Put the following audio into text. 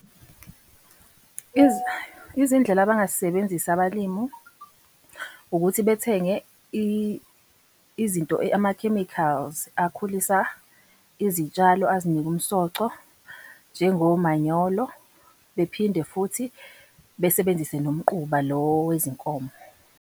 Izindlela abangazisebenzisi abalimu, ukuthi bethenge izinto amakhemikhali akhulisa izitshalo azinike umsoco njengomanyolo. Bephinde futhi besebenzise nomquba lo wezinkomo.